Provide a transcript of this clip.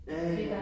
Ja ja